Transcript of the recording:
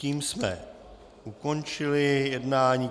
Tím jsme ukončili jednání.